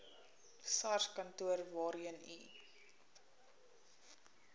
sarskantoor waarheen u